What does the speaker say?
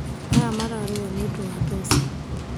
Aya mararũa nĩũndũwa mbeca